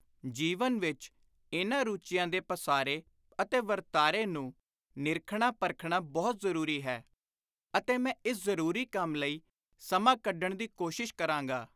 ਜੀਵਨ ਵਿਚ ਇਨ੍ਹਾਂ ਰੁਚੀਆਂ ਦੇ ਪਾਸਾਰੇ ਅਤੇ ਵਰਤਾਰੇ ਨੂੰ ਨਿਰਖਣਾ-ਪਰਖਣਾ ਬਹੁਤ ਜ਼ਰੂਰੀ ਹੈ ਅਤੇ ਮੈਂ ਇਸ ਜ਼ਰੂਰੀ ਕੰਮ ਲਈ ਸਮਾਂ ਕੱਢਣ ਦੀ ਕੋਸ਼ਿਸ਼ ਕਰਾਂਗਾ।